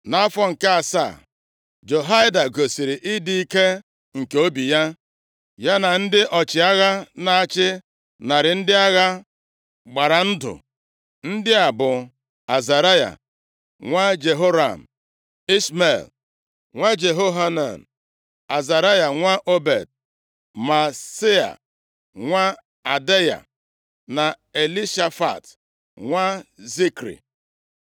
Nʼafọ nke asaa, Jehoiada gosiri ịdị ike nke obi ya. Ya na ndị ọchịagha na-achị narị ndị agha gbara ndụ. Ndị a bụ: Azaraya nwa Jeroham, Ishmel nwa Jehohanan, Azaraya nwa Obed, Maaseia nwa Adaya na Elishafat nwa Zikri.